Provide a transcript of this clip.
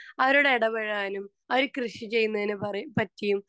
speaker 2 അവരോട് ഇടപഴകാനും അവര് കൃഷി ചെയ്യുന്നതിനെ പറ പറ്റിയും